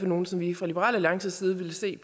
nogle som vi fra liberal alliance side vil se